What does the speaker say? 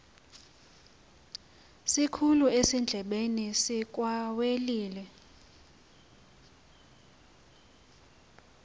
sikhulu ezindlebeni zikawelile